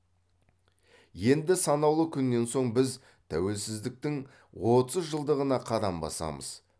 енді санаулы күннен соң біз тәуелсіздіктің отыз жылдығына қадам басамыз